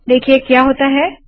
देखिए क्या होता है